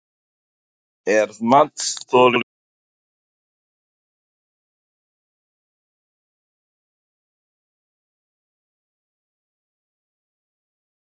Ef matsþoli telst hafa orðið fyrir fjárhagslegu tjóni hve mikið var tjónið?